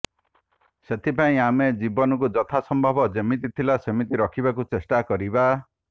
ସେଥିପାଇଁ ଆମେ ଜୀବନକୁ ଯଥାସମ୍ଭବ ଯେମିତି ଥିଲା ସେମିତି ରଖିବାକୁ ଚେଷ୍ଟା କରିବା